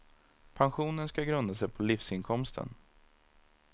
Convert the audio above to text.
Pensionen ska grunda sig på livsinkomsten.